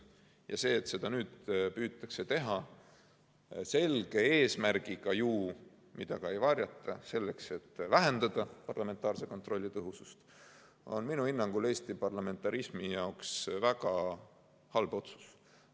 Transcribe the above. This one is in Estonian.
Ja see, et seda nüüd püütakse teha, selge eesmärgiga, mida ka ei varjata, selleks et vähendada parlamentaarse kontrolli tõhusust, on minu hinnangul Eesti parlamentarismi jaoks väga halb otsus.